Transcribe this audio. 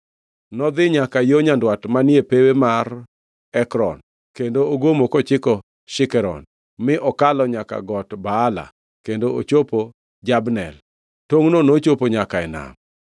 Nodhi nyaka yo nyandwat manie pewe mar Ekron kendo ogomo kochiko Shikeron, mi okalo nyaka Got Baala kendo ochopo Jabnel. Tongʼno nochopo nyaka e nam.